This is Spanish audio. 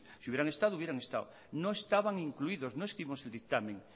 si hubieran estado hubieran estado no estaban incluidos no escribimos el dictamen